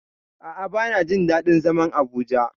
A'a bana jin daɗin zaman Abuja.